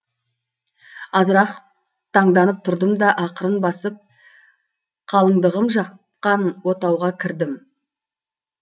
азырақ таңданып тұрдым да ақырын басып қалындығым жаққан отауға кірдім